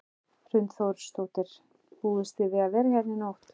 Hrund Þórsdóttir: Búist þið við að vera hérna í nótt?